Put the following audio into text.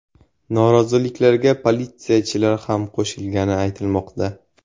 Noroziliklarga politsiyachilar ham qo‘shilgani aytilmoqda.